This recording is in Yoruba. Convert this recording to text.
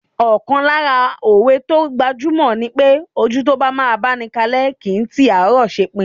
Ọ̀kan lára òwe tó gbajúgbajà ni pé, ojú tó bá máa báni kalẹ́ kìí ti àárọ̀ ṣepin.